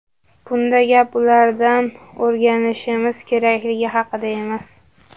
Bunda gap ulardan o‘rganishimiz kerakligi haqida emas.